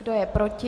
Kdo je proti?